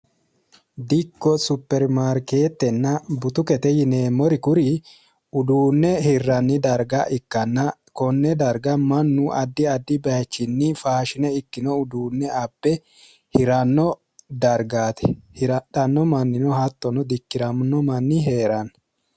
dikko superimaarkeetenna butukete yineemmori kuri uduunne hirarnni darga ikkanna konne darag mannu addi addi bayiichinni faashine ikkino uduunne abbe hiranno dargaati hiranno mannino hattono dikkiranno mannino heeranno.